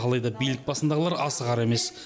алайда билік басындағылар асығар емес